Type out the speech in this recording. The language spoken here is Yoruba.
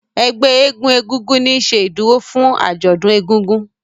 Ègbé éégun egúngún ní ṣe ìdúró fún ajọdún ègùngùn.